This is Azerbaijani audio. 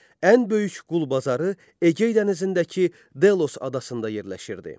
Ən böyük qul bazarı Egey dənizindəki Delos adasında yerləşirdi.